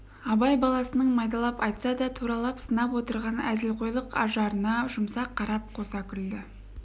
абай баласының майдалап айтса да туралап сынап отырған әзілқойлық ажарына жұмсақ қарап қоса күлді